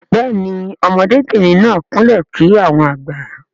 Béèni ọmọdé bìrìn náà kún lè kí àwọn àgbà.